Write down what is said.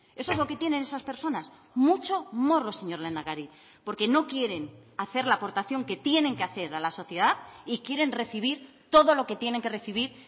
eso es lo que tienen esas personas mucho morro señor lehendakari porque no quieren hacer la aportación que tienen que hacer a la sociedad y quieren recibir todo lo que tienen que recibir